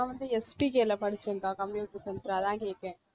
நான் வந்து SPK ல படிச்சேன்க்கா computer center உ அதான் கேட்டேன்